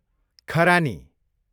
खरानी